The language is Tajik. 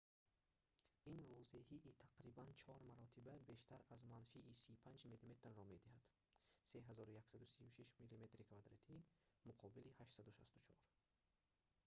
ин возеҳии тақрибан чор маротиба бештар аз манфии 35 мм-ро медиҳад 3136 мм2 муқобили 864